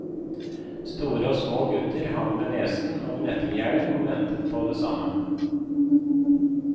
Store og små gutter hang med nesen over nettinggjerdet og ventet på det samme.